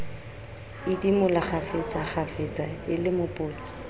idimola kgafetsakgafetsa e le mopoto